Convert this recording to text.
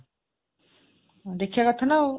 ଦେଖିବା କଥା ନା ଆଉ